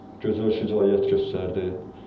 Gözəl şücaət göstərdi.